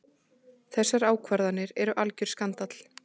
Þessar ákvarðanir eru algjör skandall.